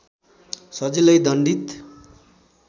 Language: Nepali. सजिलै दण्डित